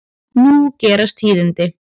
Nú gerast tíðindi.